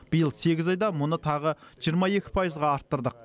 биыл сегіз айда мұны тағы жиырма екі пайызға арттырдық